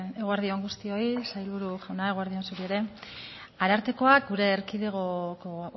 eguerdi on guztioi sailburu jauna eguerdi on zuri ere arartekoak gure erkidegoko